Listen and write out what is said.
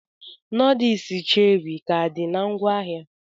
Noodles Cherie ka did na ngwaahịa?